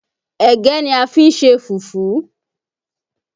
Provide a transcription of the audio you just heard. Ẹ̀gẹ́ ni a fi ṣe fùfú